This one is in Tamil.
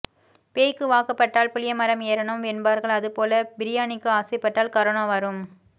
பேய்க்கு வாக்கப்பட்டால் புளிய மரம் ஏறனும் என்பார்கள் அது போல பிரியாணிக்கு ஆசைப்பட்டால் கரோனா வரும்